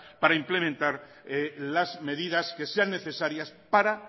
para implementar las medidas que sean necesarias para